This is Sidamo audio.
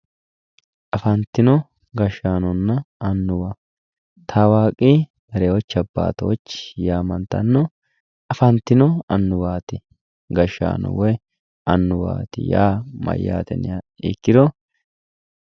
Afantino gashshaanonna annuwa tawaqi lijocho abatochi yamattano afantino annuwati gashshaano woyi annuwa mayate yinniha ikkiro